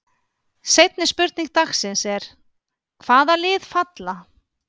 Seinni spurning dagsins er: Hvaða lið falla?